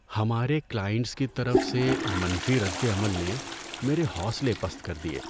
ہمارے کلائنٹس کی طرف سے منفی رد عمل نے میرے حوصلے پست کر دیے۔